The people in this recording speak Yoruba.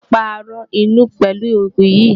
Wàá pa aràn inú pelu òògùn yìí.